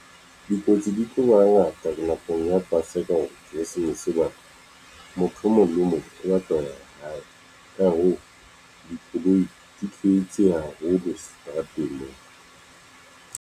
Dikotsi di tlo ba ngata nakong ya paseka keresemese, hoba motho e mong le e mong o batla ho ya hae. Ka hoo, dikoloi di tletse haholo seterateng mona.